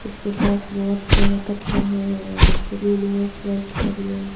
उसके पास बहुत सारा कचरा है और जमीन अस्त व्यस्त पड़ी है।